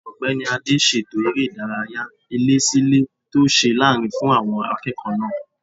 Ọ̀gbẹ́ni Adé ṣètò eré ìdárayá ilé-sí-ilé tó ṣe lárinrin fún àwọn akẹ́kọ̀ọ́ náà